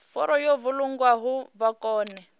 furu yo vhulungwaho vha kone